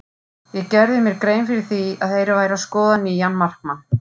Ég gerði mér grein fyrir því að þeir væru að skoða nýjan markmann.